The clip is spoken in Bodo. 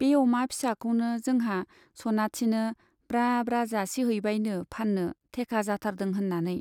बे अमा फिसाखौनो जोंहा सनाथिनो ब्रा ब्रा जासिहैबायनो फान्नो थेका जाथारदों होन्नानै।